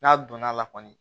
N'a donna la kɔni